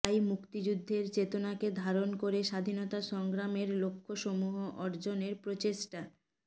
তাই মুক্তিযুদ্ধের চেতনাকে ধারণ করে স্বাধীনতা সংগ্রামের লক্ষ্যসমূহ অর্জনের প্রচেষ্টা